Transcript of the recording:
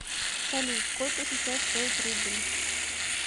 салют сколько сейчас стоит рубль